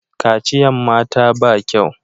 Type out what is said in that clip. Kaciyan mata ba kyau